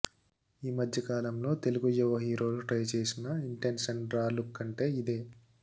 ఈమధ్య కాలంలో తెలుగు యువ హీరోలు ట్రై చేసిన ఇంటెన్స్ అండ్ రా లుక్ అంటే ఇదే